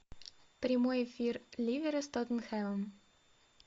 прямой эфир ливера с тоттенхэмом